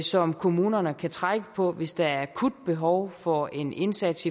som kommunerne kan trække på hvis der er akut behov for en indsats